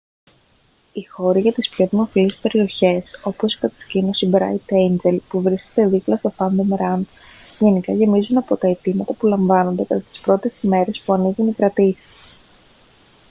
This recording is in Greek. οι χώροι για τις πιο δημοφιλείς περιοχές όπως η κατασκήνωση μπράιτ έιντζελ που βρίσκεται δίπλα στο φάντομ ραντς γενικά γεμίζουν από τα αιτήματα που λαμβάνονται κατά τις πρώτες ημέρες που ανοίγουν οι κρατήσεις